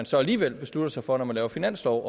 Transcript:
så alligevel beslutter sig for når man laver finanslov